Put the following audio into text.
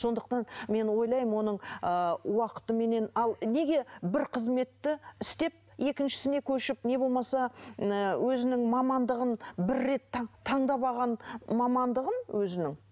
сондықтан мен ойлаймын оның ыыы уақытыменен ал неге бір қызметті істеп екіншісіне көшіп не болмаса ыыы өзінің мамандығын бір рет таңдап алған мамандығын өзінің